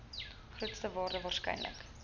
grootste waarde waarskynlik